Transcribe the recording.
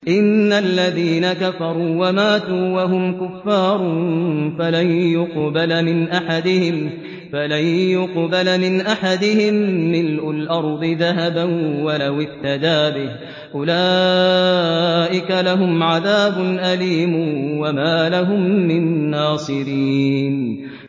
إِنَّ الَّذِينَ كَفَرُوا وَمَاتُوا وَهُمْ كُفَّارٌ فَلَن يُقْبَلَ مِنْ أَحَدِهِم مِّلْءُ الْأَرْضِ ذَهَبًا وَلَوِ افْتَدَىٰ بِهِ ۗ أُولَٰئِكَ لَهُمْ عَذَابٌ أَلِيمٌ وَمَا لَهُم مِّن نَّاصِرِينَ